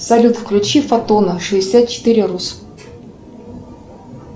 салют включи фотона шестьдесят четыре рус